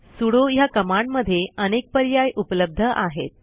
sudo ह्या कमांडमधे अनेक पर्याय उपलब्ध आहेत